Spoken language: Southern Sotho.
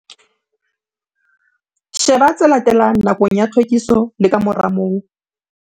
Sheba tse latelang nakong ya tlhwekiso le ka mora moo.